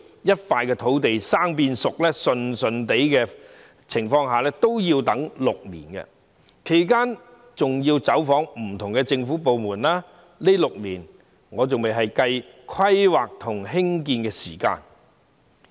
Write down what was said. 一塊土地由"生"變"熟"，情況順利也要6年，其間有關方面還要走訪不同的政府部門，而且這6年仍未計算規劃和興建的時間在內。